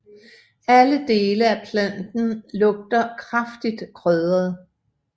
Alle dele af planten lugter kraftigt krydret